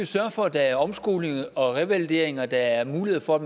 sørge for at der er omskoling og revalidering og at der er mulighed for